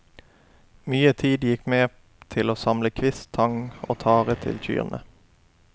Mye tid gikk med til å samle kvist, tang og tare til kyrne.